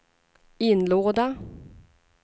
inlåda